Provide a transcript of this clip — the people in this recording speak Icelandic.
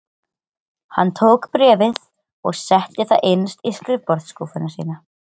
Hann tók bréfið og setti það innst í skrifborðsskúffuna sína.